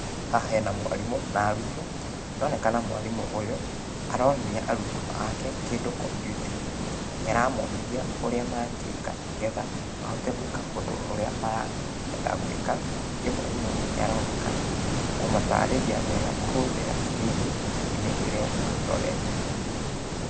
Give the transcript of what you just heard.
Haha hena mwarimũ na arutwo, nĩronekana mwarimũ ũyũ, aronithia arutwo ake, kĩndũ kompiuta-inĩ. Nĩ aramonithia, ũrĩa mangĩka, nĩgetha mahote gũĩka ũndũ ũrĩa marenda gũĩka, ningĩ mwarimũ ũyũ nĩaronekana, kũmatarĩria wega kũhũthĩra screen -inĩ ĩrĩa marorete.